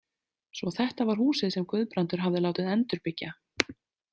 Svo þetta var húsið sem Guðbrandur hafði látið endurbyggja.